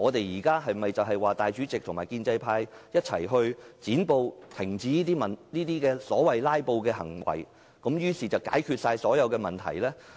是否主席和建制派一起"剪布"，停止所謂"拉布"行為，便可解決所有問題？